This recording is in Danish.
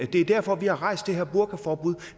er derfor vi har rejst det her burkaforbud